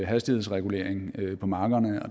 hastighedsregulering på markerne og